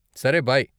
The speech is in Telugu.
సరే, బై.